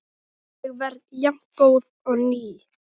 Ég verð jafngóð og ný.